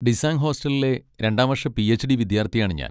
ഡിസാങ് ഹോസ്റ്റലിലെ രണ്ടാം വർഷ പി.എച്ച്.ഡി. വിദ്യാർത്ഥിയാണ് ഞാൻ.